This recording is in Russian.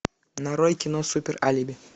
нарой кино супер алиби